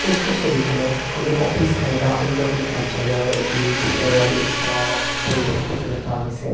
ওপৰৰ ছবিখনত কোনো অফিচ নাইবা অন্য কোনো কাৰ্য্যালয়ৰ এটি ভিতৰৰ ব্যস্ত পৰিৱেশ দেখিবলৈ পোৱা গৈছে।